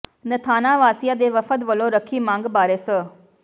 ਨਥਾਣਾ ਵਾਸਿਆਂ ਦੇ ਵਫਦ ਵਲੋਂ ਰੱਖੀ ਮੰਗ ਬਾਰੇ ਸ